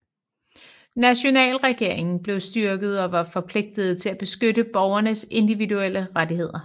Nationalregeringen blev styrket og var forpligtet til at beskytte borgernes individuelle rettigheder